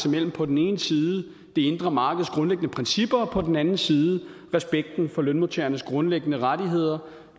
mellem på den ene side det indre markeds grundlæggende principper og på den anden side respekten for lønmodtagernes grundlæggende rettigheder